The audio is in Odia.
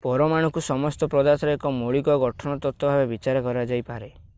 ପରମାଣୁକୁ ସମସ୍ତ ପଦାର୍ଥର ଏକ ମୌଳିକ ଗଠନ ତତ୍ତ୍ୱ ଭାବରେ ବିଚାର କରାଯାଇପାରେ